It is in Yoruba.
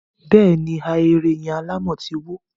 bẹ́ẹ̀ ni, Ahéré yẹn alámọ̀ ti wó.